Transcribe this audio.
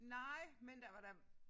Nej men der var da